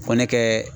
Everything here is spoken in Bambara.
Fɔ ne kɛ